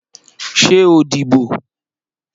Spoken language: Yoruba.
Ṣé o díbò?